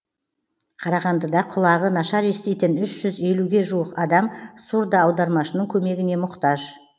қарағандыда құлағы нашар еститін үш жүз елуге жуық адам сурдоаудармашының көмегіне мұқтаж